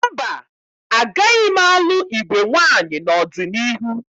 Mba, agaghị m alụ igwe nwaanyị n'ọdịniihu.